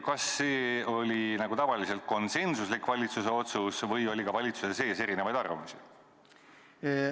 Kas see oli nagu tavaliselt konsensuslik valitsuse otsus või oli ka valitsuse sees erinevaid arvamusi?